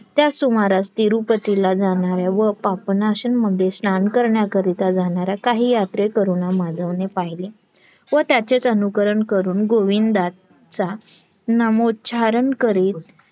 त्याचं सुमारास तिरुपतीला जाणाऱ्या व पापनाशन मध्ये स्नान करण्याकरिता जाणाऱ्या काही यात्रेकरूंना माधवने पहिले व त्याचेच अनुकरण करून गोविंदा चा नामोच्यारण करीत